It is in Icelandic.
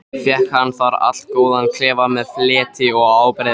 Fékk hann þar allgóðan klefa með fleti og ábreiðum.